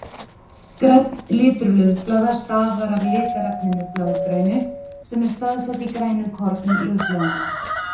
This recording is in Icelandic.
grænn litur laufblaða stafar af litarefninu blaðgrænu sem er staðsett í grænukornum laufblaðanna